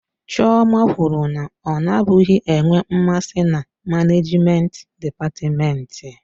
Chioma kwuru na ọ nabụghị enwe mmasị na manejment dịpatmenti.